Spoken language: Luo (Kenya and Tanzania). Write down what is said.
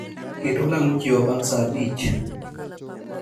Ket olang' ochiewa bang' saa abich